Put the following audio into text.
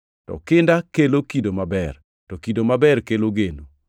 to kinda kelo kido maber to kido maber kelo geno.